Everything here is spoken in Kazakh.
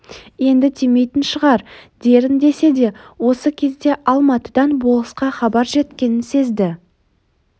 енді тимейтін шығар дерін десе де осы кезде алматыдан болысқа хабар жеткенін сезді